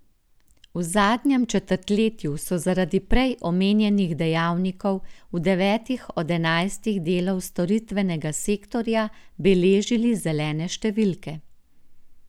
V zadnjem četrtletju so zaradi prej omenjenih dejavnikov v devetih od enajstih delov storitvenega sektorja beležili zelene številke.